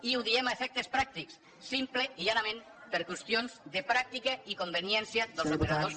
i ho diem a efectes pràctics simplement i llanament per qüestions de pràctica i conveniència dels operadors